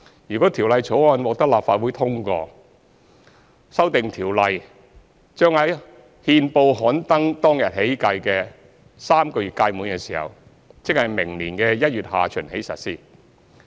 如《條例草案》獲得立法會通過，修訂條例將在憲報刊登當日起計的3個月屆滿時，即明年1月下旬起實施。